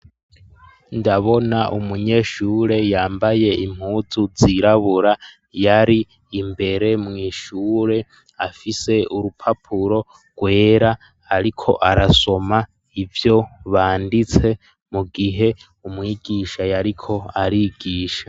Ndabona umunyeshure yambaye impuzu zirabura yari imbere mw'ishure afise urupapuro rwera ariko arasoma ivyo banditse mu gihe umwigisha yariko arigisha.